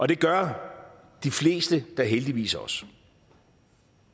det gør de fleste da heldigvis også